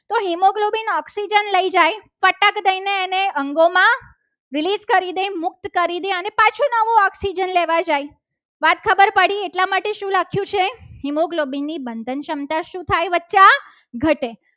તે અંગોમાં વિવિધ કરી દે મુક્ત કરી દે. અને પાછો નવો oxygen લેવા જાય વાત ખબર પડી એટલા માટે oxygen શું રાખ્યું છે. haemoglobin ની ક્ષમતા શું થાય? બચ્ચા ઘટે